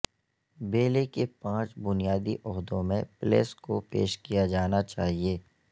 بیلے کے پانچ بنیادی عہدوں میں پلیس کو پیش کیا جانا چاہئے